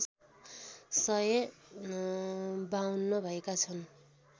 सय ५२ भएका छन्